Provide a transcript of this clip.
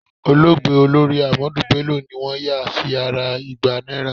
Olóògbé Olórí Ahmadu Bello ni wọ́n yà sí ara igba náírà.